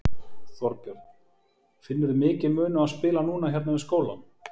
Þorbjörn: Finnurðu mikinn mun á að spila núna hérna við skólann?